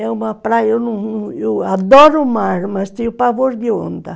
É uma praia, eu não, eu adoro o mar, mas tenho pavor de onda.